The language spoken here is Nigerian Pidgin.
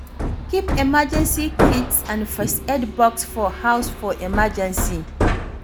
Keep emergency kits and first aid box for house for emergency